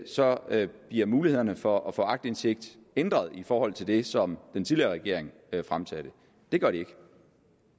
så bliver mulighederne for at få aktindsigt ændret i forhold til det som den tidligere regering fremsatte det gør det ikke